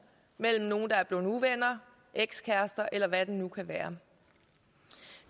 mellem nogle der er blevet uvenner ekskærester eller hvad det nu kan være